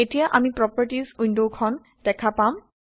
এতিয়া আমি প্ৰপাৰ্টিজ ৱিণ্ডখন দেখা পাম